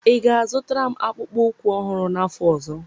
ị ga-azụtara m akpụkpọ ụkwụ ọhụrụ n'afọ ọzọ?